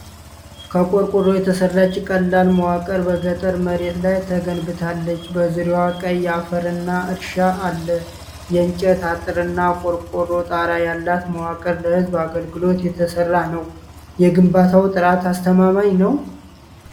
ከቆርቆሮ የተሰራች ቀላል መዋቅር በገጠር መሬት ላይ ተገንብታለች። በዙሪያዋ ቀይ አፈርና እርሻ አለ። የእንጨት አጥርና ቆርቆሮ ጣራ ያላት መዋቅሩ ለህዝብ አገልግሎት የተሰራ ነው። የግንባታው ጥራት አስተማማኝ ነው?